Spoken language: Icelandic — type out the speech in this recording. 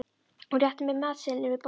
Hún réttir mér matseðilinn yfir borðið.